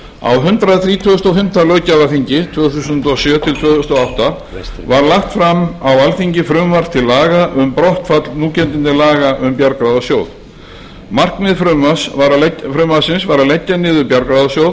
á hundrað þrítugasta og fimmta löggjafarþingi tvö þúsund og sjö til tvö þúsund og átta var lagt fram á alþingi frumvarp til laga m brottfall núgildandi laga um brottfall núgildandi laga um bjargráðasjóð markmið frumvarpsins var að leggja niður bjargráðasjóð